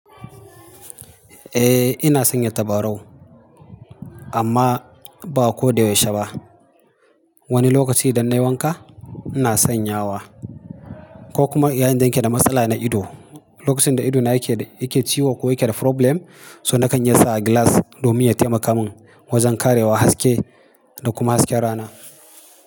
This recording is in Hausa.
Eh ina sanya tabarau amma ba ko da yaushe ba. Wani lokaci idan na yi wanka ina sanyawa ko kuma yayin da nake da matsala na ido. Lokacin da idona yake, yake ciwo ko yake da problem, so na kan iya sa gilas domin ya taimaka min wajen karewa haske da kuma hasken rana.